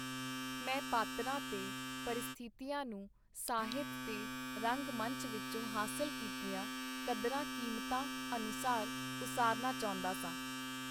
ਮੈਂ ਪਾਤਰਾਂ ਤੇ ਪ੍ਰਸਥਿਤੀਆਂ ਨੂੰ ਸਾਹਿਤ ਤੇ ਰੰਗ-ਮੰਚ ਵਿਚੋਂ ਹਾਸਲ ਕੀਤੀਆਂ ਕਦਰਾਂ-ਕੀਮਤਾਂ ਅਨੁਸਾਰ ਉਸਾਰਨਾ ਚਾਹੁੰਦਾ ਸਾਂ.